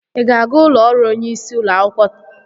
I ga-aga ụlọ ọrụ onyeisi ụlọ akwụkwọ?